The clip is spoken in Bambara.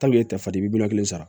miliyɔn kelen sara